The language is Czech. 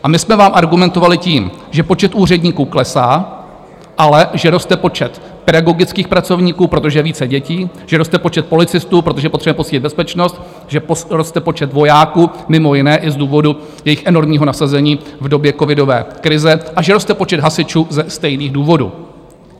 A my jsme vám argumentovali tím, že počet úředníků klesá, ale že roste počet pedagogických pracovníků, protože je více dětí, že roste počet policistů, protože potřebujeme posílit bezpečnost, že roste počet vojáků mimo jiné i z důvodu jejich enormního nasazení v době covidové krize a že roste počet hasičů ze stejných důvodů.